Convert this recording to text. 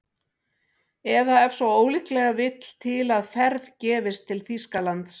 Eða ef svo ólíklega vill til að ferð gefist til Þýskalands